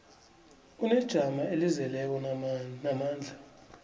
unejamo elizeleko namandla